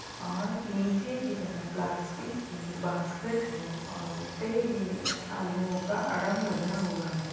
और नीचे की तरफ प्लास्टिक की बास्केट है और उसपे ये आलुओ का अडम लगा हुआ है।